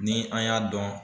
Ni an y'a dɔn